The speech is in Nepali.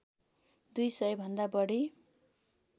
दुई सयभन्दा बढी